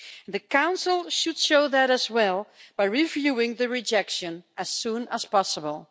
The Council should show that as well by reviewing the rejection as soon as possible.